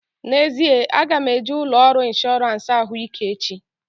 N'ezie, aga m eje ụlọ ọrụ ịnshọransị ahụike echi